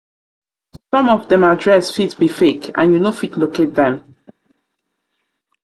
some of them address fit be fake and you no fit locate them.